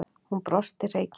Hún brosti hreykin.